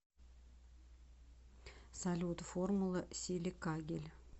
салют формула силикагель